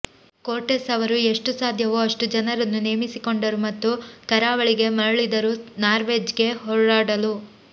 Cortes ಅವರು ಎಷ್ಟು ಸಾಧ್ಯವೋ ಅಷ್ಟು ಜನರನ್ನು ನೇಮಿಸಿಕೊಂಡರು ಮತ್ತು ಕರಾವಳಿಗೆ ಮರಳಿದರು ನಾರ್ವೆಜ್ಗೆ ಹೋರಾಡಲು